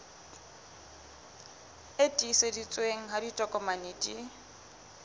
e tiiseditsweng ha ditokomane di